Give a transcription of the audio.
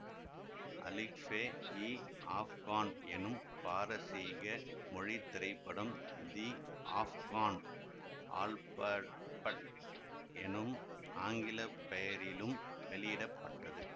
அலிஃபே இ ஆஃப்கான் எனும் பாரசீக மொழி திரைப்படம் தி ஆஃப்கான் ஆல்பபட் எனும் ஆங்கில பெயரிலும் வெளியிட பட்டது